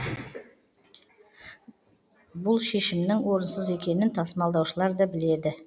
бұл шешімнің орынсыз екенін тасымалдаушылар да біледі